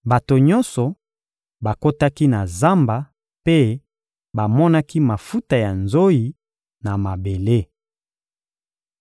Bato nyonso bakotaki na zamba mpe bamonaki mafuta ya nzoyi, na mabele.